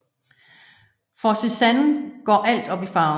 For Cézanne går alt op i farven